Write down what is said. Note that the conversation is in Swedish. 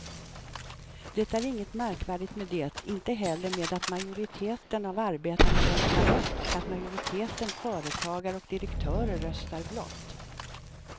Det är inget märkvärdigt med det, inte heller med att majoriteten av arbetarna röstar rött och att majoriteten företagare och direktörer röstar blått.